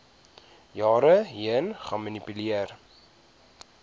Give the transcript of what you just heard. jare heen gemanipuleer